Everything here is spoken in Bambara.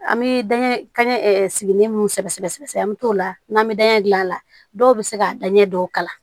An bɛ da ka gɛlɛn sigilen minnu sɛbɛ sɛbɛ sɛbɛ sɛbɛ an bɛ t'o la n'an bɛ dan ɲɛ gilan a la dɔw bɛ se ka daɲɛ dɔw kalan